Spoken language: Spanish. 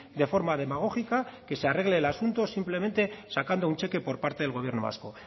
de forma demagógica que se arregle el asunto simplemente sacando un cheque por parte del gobierno vasco